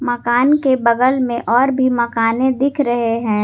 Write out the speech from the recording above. मकान के बगल में और भी मकाने दिख रहे हैं।